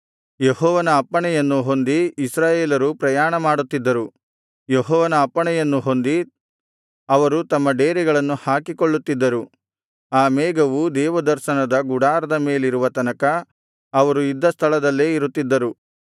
ಯೆಹೋವನ ಅಪ್ಪಣೆಯನ್ನು ಹೊಂದಿ ಇಸ್ರಾಯೇಲರು ಪ್ರಯಾಣಮಾಡುತ್ತಿದ್ದರು ಯೆಹೋವನ ಅಪ್ಪಣೆಯನ್ನು ಹೊಂದಿ ಅವರು ತಮ್ಮ ಡೇರೆಗಳನ್ನು ಹಾಕಿಕೊಳ್ಳುತ್ತಿದ್ದರು ಆ ಮೇಘವು ದೇವದರ್ಶನದ ಗುಡಾರದ ಮೇಲಿರುವ ತನಕ ಅವರು ಇದ್ದ ಸ್ಥಳದಲ್ಲೇ ಇರುತ್ತಿದ್ದರು